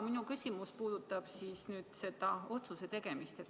Minu küsimus puudutab seda otsuse tegemist.